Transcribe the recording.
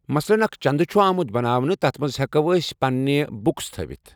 مثلن اَکھ چَندٕ چھُ آمُت بَناونہٕ تَتھ منٛز ہٮ۪کو أسۍ پَنٛنہِ بُکٕس تھٲیِتھ۔